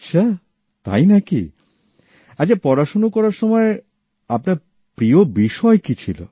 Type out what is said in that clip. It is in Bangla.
আচ্ছা তাই নাকি আচ্ছা পড়াশোনা করার সময় আপনার প্রিয় বিষয় কি ছিল